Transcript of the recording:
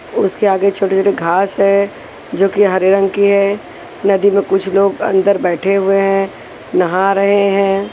उसके आगे छोटे-छोटे घास है जो कि हरे रंग की है नदी में कुछ लोग अंदर बैठे हुए हैं नहा रहे हैं।